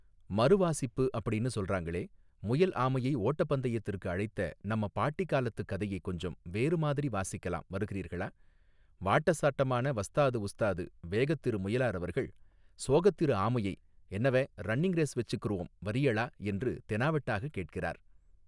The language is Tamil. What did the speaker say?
மறுவாசிப்பு அப்படீன்னு சொல்றாங்களே முயல் ஆமையை ஓட்டப் பந்தயத்திற்கு அழைத்த நம்ம பாட்டி காலத்துக் கதையைக் கொஞ்சம் வேறு மாதிரி வாசிக்கலாம் வருகிறீர்களா வாட்ட சாட்டமான வஸ்தாது உஸ்தாது வேகத் திரு முயலார் அவர்கள் சோகத் திரு ஆமையை என்னவே ரன்னிங் ரேஸ் வச்சிக்குருவோம் வர்றீயளா என்று தெனாவெட்டாகக் கேட்கிறார்.